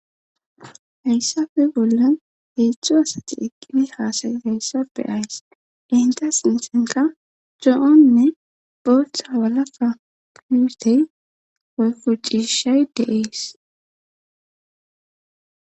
Hayssafe bollan heedzdzu asati eqqini haasayi hayssafe ays enta sintenka co'onne botha walafa puutey eyfucishay deees.